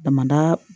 Damada